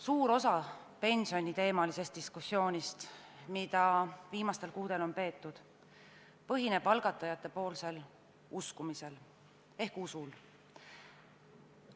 Suur osa pensioniteemalisest diskussioonist, mida viimastel kuudel on peetud, põhineb algatajate uskumisel ehk usul.